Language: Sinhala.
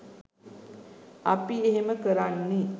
අපි එහෙම කරන්නෙ